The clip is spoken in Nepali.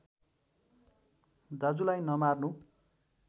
दाजुलाई नमार्नु